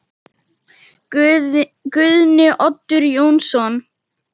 Guðni Oddur Jónsson